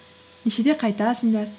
нешеде қайтасыңдар